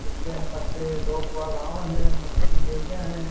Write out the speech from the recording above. लेण खातर लोग बाग़ आव है मछली ले जा है।